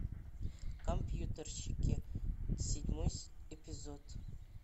компьютерщики седьмой эпизод